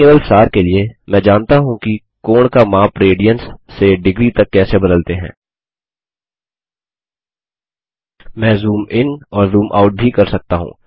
तो केवल सार के लिए मैं जानता हूँ कि कोण का माप रेडियन्स से डिग्री तक कैसे बदलते हैं मैं जूम इन और जूम आउट भी कर सकता हूँ